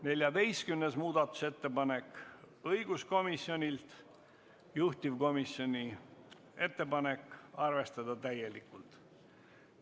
14. muudatusettepanek on õiguskomisjonilt, juhtivkomisjoni ettepanek on arvestada seda täielikult.